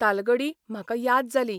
तालगडी म्हाका याद जाली.